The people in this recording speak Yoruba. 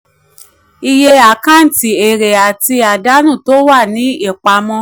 iye um àkáǹtì: èrè àti àdánù tó wà um ní ìpàmọ.